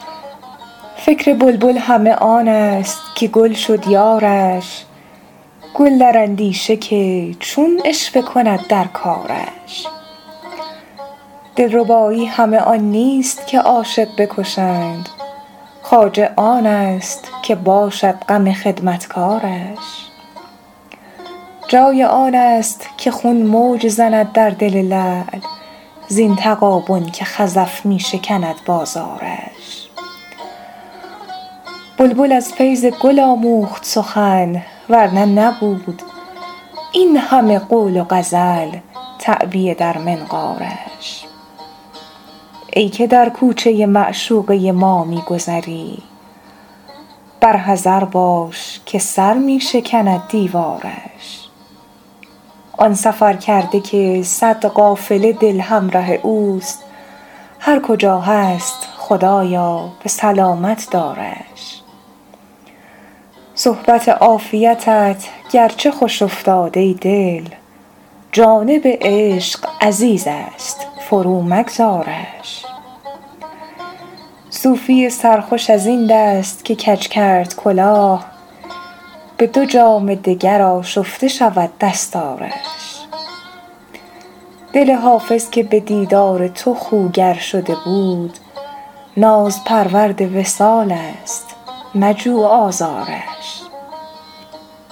فکر بلبل همه آن است که گل شد یارش گل در اندیشه که چون عشوه کند در کارش دلربایی همه آن نیست که عاشق بکشند خواجه آن است که باشد غم خدمتکارش جای آن است که خون موج زند در دل لعل زین تغابن که خزف می شکند بازارش بلبل از فیض گل آموخت سخن ور نه نبود این همه قول و غزل تعبیه در منقارش ای که در کوچه معشوقه ما می گذری بر حذر باش که سر می شکند دیوارش آن سفرکرده که صد قافله دل همره اوست هر کجا هست خدایا به سلامت دارش صحبت عافیتت گرچه خوش افتاد ای دل جانب عشق عزیز است فرومگذارش صوفی سرخوش از این دست که کج کرد کلاه به دو جام دگر آشفته شود دستارش دل حافظ که به دیدار تو خوگر شده بود نازپرورد وصال است مجو آزارش